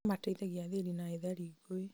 no mateithagia athĩni na ethari ngũĩ